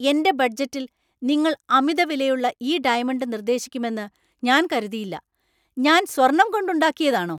എന്‍റെ ബഡ്ജറ്റില്‍ നിങ്ങൾ അമിതവിലയുള്ള ഈ ഡയമണ്ട് നിർദ്ദേശിക്കുമെന്ന് ഞാന്‍ കരുതിയില്ല! ഞാൻ സ്വർണ്ണം കൊണ്ടുണ്ടാക്കിയതാണോ?